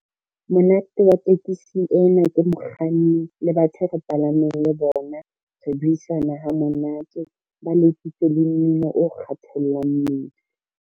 Monate wa tekesi ena ke mokganni le batho e re palameng le bona, re buisana hamonate, ba letsitse le mmino o kgathollang mmele.